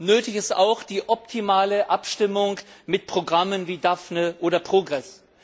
Nötig ist auch die optimale Abstimmung mit Programmen wie Daphne oder PROGRESS.